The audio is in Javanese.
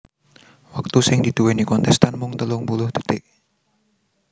Wektu sing diduwèni kontèstan mung telung puluh dhetik